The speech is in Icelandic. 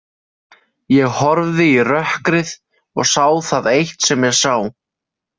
Ég horfði í rökkrið og sá það eitt sem ég sá.